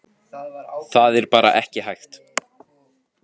Það er bara ekki hægt